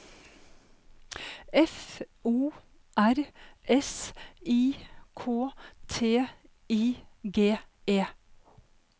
F O R S I K T I G E